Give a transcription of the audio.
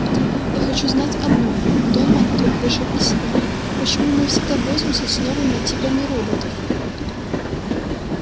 я хочу знать одно донован вдруг вышел из себя почему мы всегда возимся с новыми типами роботов